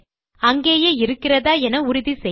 அங்கேயே இருக்கிறதா என உறுதி செய்ய